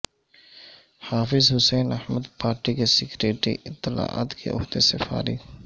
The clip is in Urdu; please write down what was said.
حافظ حسین احمد پارٹی کے سیکرٹری اطلاعات کے عہدے سے فارغ